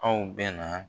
Aw bɛ na